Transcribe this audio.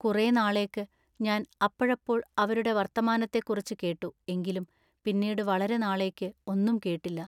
കുറെ നാളേക്ക് ഞാൻ അപ്പഴപ്പോൾ അവരുടെ വർത്തമാനത്തെക്കുറിച്ച് കേട്ടു എങ്കിലും പിന്നീടു വളരെ നാളേക്കു ഒന്നും കേട്ടില്ല.